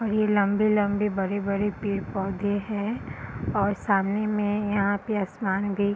और ये लम्बे -लम्बे बड़े-बड़े पेड़-पौधे है और सामने में यहाँ पे आसमान भी --